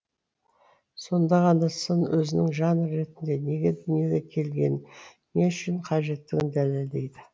сонда ғана сын өзінің жанр ретінде неге дүниеге келгенін не үшін қажеттігін дәлелдейді